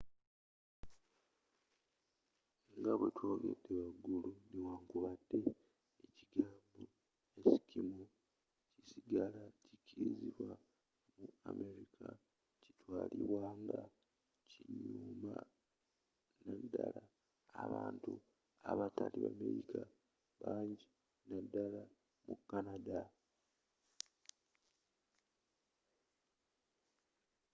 nga bwe twogedde wagulu, newankubadde ekigambo eskimo” kisigala kikirizibwa mu amerika kitwalibwa nga kinyooma naddala abantu abatali bamerika banji naddala mu canada